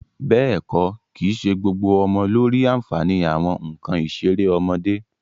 Bẹ́ẹ̀ kọ́, kìí ṣe gbogbo ọmọ ló rí àǹfààní àwọn nǹkan ìṣeré ọmọdé